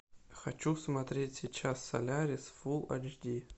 хочу смотреть сейчас солярис фулл эйч ди